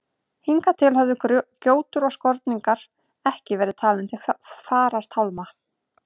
Hingað til höfðu gjótur og skorningar ekki verið talin til farartálma.